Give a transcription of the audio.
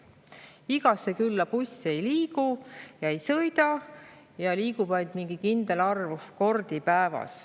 Igasse külla buss ei sõida ja kui sõidabki, siis ainult mingi kindel arv kordi päevas.